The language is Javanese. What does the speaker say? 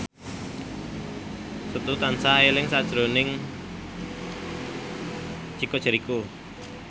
Setu tansah eling sakjroning Chico Jericho